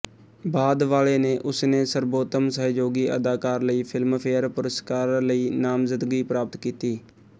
ਬਾਅਦ ਵਾਲੇ ਨੇ ਉਸਨੇ ਸਰਬੋਤਮ ਸਹਿਯੋਗੀ ਅਦਾਕਾਰ ਲਈ ਫਿਲਮਫੇਅਰ ਪੁਰਸਕਾਰ ਲਈ ਨਾਮਜ਼ਦਗੀ ਪ੍ਰਾਪਤ ਕੀਤੀ